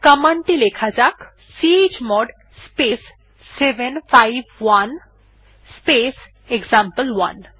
command টি লেখা যাক চমোড স্পেস 751 স্পেস এক্সাম্পল1